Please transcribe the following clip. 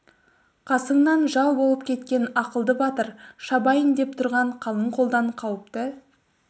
қасыңнан жау болып кеткен ақылды батыр шабайын деп тұрған қалың қолдан қауіпті